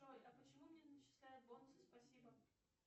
джой а почему мне начисляют бонусы спасибо